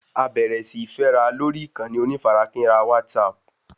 A bẹ̀rẹ̀ síí fẹ́ra lórí ìkànnì onífarakínra WhatsApp